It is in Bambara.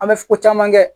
An bɛ ko caman kɛ